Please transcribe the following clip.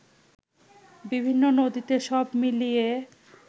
বিভিন্ন নদীতে সব মিলিয়ে